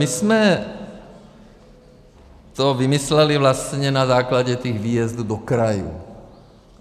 My jsme to vymysleli vlastně na základě těch výjezdů do krajů.